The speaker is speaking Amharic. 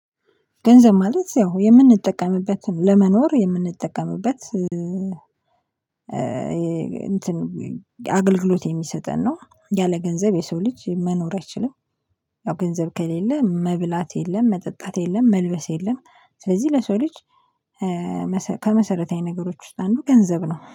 ገንዘብ ማለት ያው የምንጠቀምበትን ለመኖር የምንጠቀምበት እንትን አገልግሎት የሚሰጠን ነው ያለ ገንዘብ የሰው ልጅ መኖር አይችልም፣ ያው ገንዘብ ከሌለ መብላት የለም፣ መጠጣት የለም፣ መልበስ የለም፣ ስለዚህ ለሰው ልጅ ከመሰረታዊ ነገሮች ውስጥ አንዱ ገንዘብ ነው።